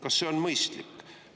Kas see on mõistlik?